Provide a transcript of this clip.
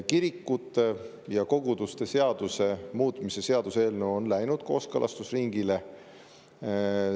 Kirikute ja koguduste seaduse muutmise seaduse eelnõu on läinud kooskõlastusringile.